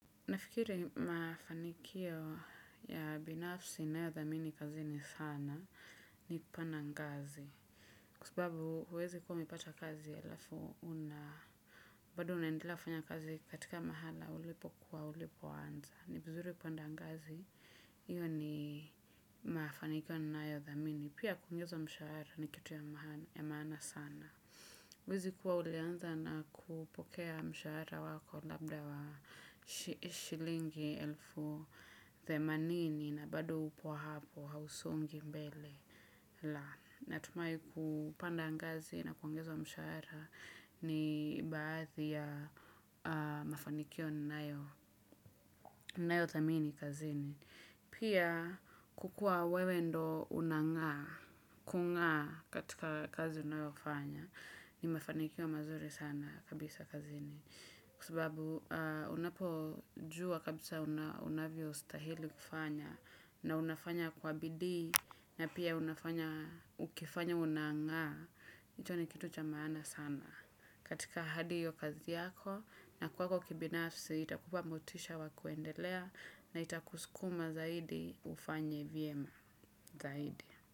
Nafikiri mafanikio ya binafsi nayo dhamini kazini sana ni kupana ngazi. Kwasababu huwezi kuwa umepata kazi alafu una. Bado unaendela kufanya kazi katika mahala ulipo kuwa ulipo anza. Ni vizuri kupanda ngazi. Iyo ni mafanikio ninayodhamini. Pia kuongezwa mshahara ni kitu ya maana sana. Huwezi kuwa ulianza na kupokea mshahara wako labda wa shilingi elfu themanini na bado upo hapo hausongi mbele. Na tumai kupanda angazi na kuongezwa mshahara ni baadhi ya mafanikio nayo thamini kazini. Pia kukua wewe ndo unangaa, kungaa katika kazi unayoafanya, ni mafanikio mazuri sana kabisa kazini. Kwasababu unapo jua kabisa unavyo stahili kufanya na unafanya kwa bidii na pia unafanya ukifanya unangaa, hicho ni kitu cha maana sana. Katika hadi hiyo kazi yako na kwako kibinafsi itakupa motisha wakuendelea na itakusukuma zaidi ufanye vyema zaidi.